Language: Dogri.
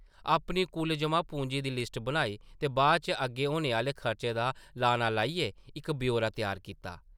अपनी कुल जʼमा-पूंजी दी लिस्ट बनाई ते बाद च अग्गें होने आह्ले खर्चें दा लाना लाइयै इक ब्यौरा त्यार कीता ।